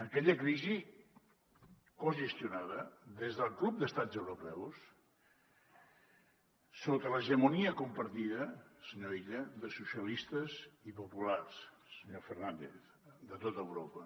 aquella crisi cogestionada des del club d’estats europeus sota l’hegemonia compartida senyor illa de socialistes i populars senyor fernàndez de tot europa